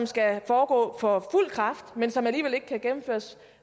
skal foregå for fuld kraft men kan alligevel ikke gennemføres